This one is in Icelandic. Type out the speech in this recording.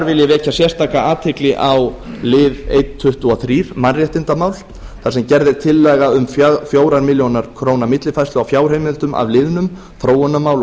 ég vekja sérstaka athygli á lið eins tuttugu og þrjú mannréttindamál þar sem gerð er tillaga um fjögur ár millifærslu á fjárheimildum af liðnum þróunarmál